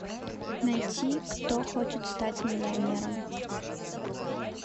найти кто хочет стать миллионером